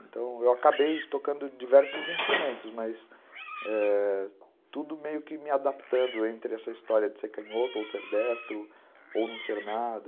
Então eu acabei tocando diversos instrumentos, mas tudo meio que me adaptando entre essa história de ser canhoto ou ser destro ou não ser nada.